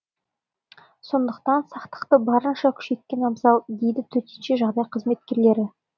сондықтан сақтықты барынша күшейткен абзал дейді төтенше жағдай қызметкерлері